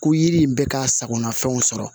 Ko yiri in bɛ ka sagona fɛnw sɔrɔ